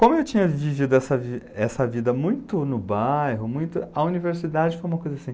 Como eu tinha vivido essa vida, essa vida muito no bairro, a universidade foi uma coisa assim...